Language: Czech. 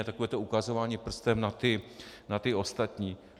A takové to ukazování prstem na ty ostatní.